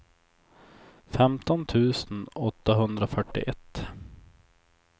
femton tusen åttahundrafyrtioett